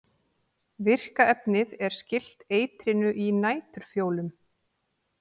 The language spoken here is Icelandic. virka efnið er skylt eitrinu í næturfjólum